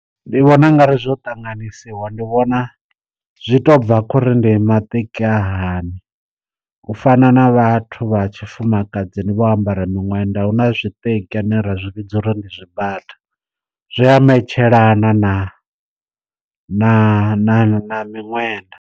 Ndi vhona u nga ri zwo ṱanganyisiwa ndi vhona zwi to bva khori ndi maṱeki a hani, u fana na vhathu vha tshi fumakadzini vho ambara miṅwenda hu na zwiṱeki zwine ra zwi vhidza uri ndi zwibata zwi a metshelana na na miṅwenda.